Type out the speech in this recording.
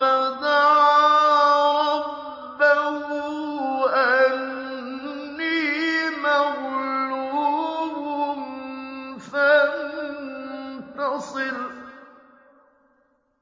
فَدَعَا رَبَّهُ أَنِّي مَغْلُوبٌ فَانتَصِرْ